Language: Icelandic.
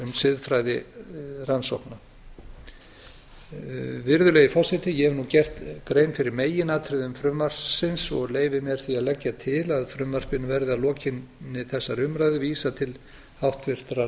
siðfræði rannsókna virðulegi forseti ég hef nú gert grein fyrir meginatriðum frumvarpsins og leyfi mér því að leggja til að frumvarpinu verði að lokinni þessari umræðu vísað til háttvirtrar